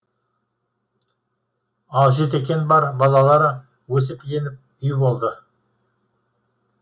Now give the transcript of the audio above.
ал жетекең бар балалары өсіп өніп үй болды